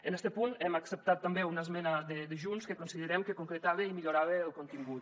en este punt hem acceptat també una esmena de junts que considerem que en concretava i en millorava el contingut